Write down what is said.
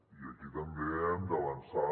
i aquí també hem d’avançar